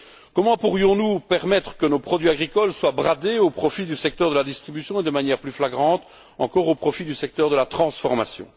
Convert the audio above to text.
Comment pourrions nous permettre que nos produits agricoles soient bradés au profit du secteur de la distribution et, de manière plus flagrante encore, au profit du secteur de la transformation?